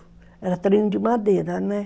Era trem de madeira, né?